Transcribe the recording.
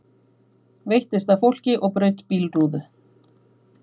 Veittist að fólki og braut bílrúðu